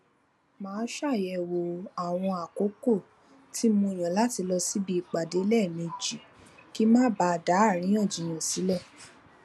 máa ṣàyèwò àwọn àkókò tí mo yàn láti lọ síbi ìpàdé léèmejì kí n má bàa da àríyànjiyàn sílè